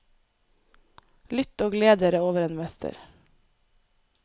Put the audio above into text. Lytt og gled dere over en mester.